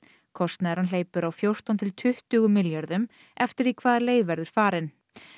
kostnaðurinn hleypur á fjórtán til tuttugu milljörðum eftir því hvaða leið verður farin